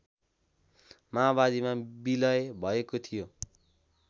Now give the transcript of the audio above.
माओवादीमा बिलय भएको थियो